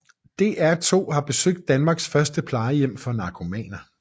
DR2 har besøgt Danmarks første plejehjem for narkomaner